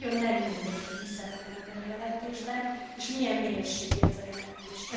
Ezért nagyon nem mindegy, hogy mi szerepel ebben a jelentésben és milyen minőségű ez a jelentés.